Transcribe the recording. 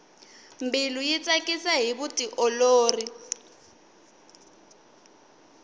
mbilu yi tsakisa hi vutiolori